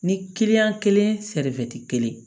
Ni kelen sɛriti kelen